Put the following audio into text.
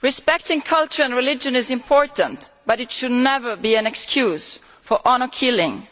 Respecting culture and religion is important but it should never be an excuse for honour killing,